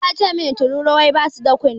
Isa yace min tururuwai basu da kunne.